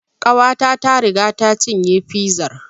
Ƙawata ta riga ta cinye fizar